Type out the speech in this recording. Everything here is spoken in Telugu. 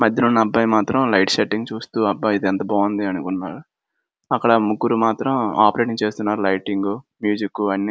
మధ్యలో ఉన్న అబ్బాయి మాత్రం లైట్ సెట్టింగ్ చూస్తూ అబ్బా ఇది ఎంత బాగుంది అనుకుంటున్నాడు. అక్కడ ముగ్గురు మాత్రం ఆపరేట్ చేస్తున్నారు. లైటింగ్ మ్యూజిక్ అన్ని --